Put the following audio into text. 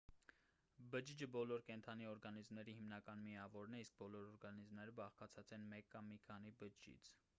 բջիջը բոլոր կենդանի օրգանիզմների հիմնական միավորն է իսկ բոլոր օրգանիզմները բաղկացած են մեկ կամ մի քանի բջջից